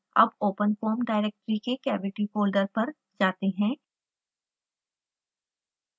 अब openfoam directory के cavity folder पर जाते हैं